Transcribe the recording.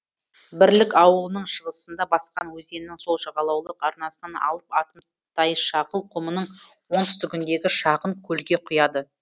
бірлік ауылының шығысында басқан өзенінің сол жағалаулық арнасынан алып атымтайшағыл құмының оңтүстігіндегі шағын көлге құяды